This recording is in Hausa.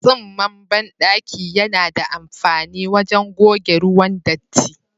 Tsinman bandaki yana da amfani wajen goge ruwan datti.